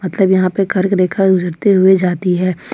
यहां पे कर्क रेखा गुजरते हुए जाती है।